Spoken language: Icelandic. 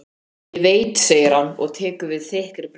Ég veit segir hann og tekur við þykkri brauðsneið.